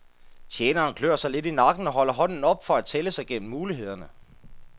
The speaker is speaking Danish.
Tjeneren klør sig lidt i nakken og holder hånden op, for at tælle sig gennem mulighederne.